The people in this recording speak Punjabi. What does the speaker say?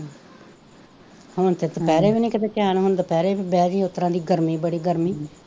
ਹੁਣ ਤਾਂ ਦੁਪਹਿਰੇ ਵੀ ਨਹੀਂ ਕਦੇ ਚੈਨ ਹੁੰਦਾ, ਹੁਣ ਦੁਪਹਿਰੇ ਵੀ ਬਹਿ ਉਸ ਤਰ੍ਹਾਂ ਦੀ ਗਰਮੀ ਬੜੀ ਗਰਮੀ